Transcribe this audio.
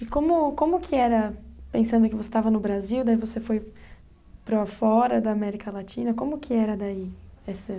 E como como que era, pensando que você estava no Brasil, daí você foi para fora da América Latina, como que era daí? Essa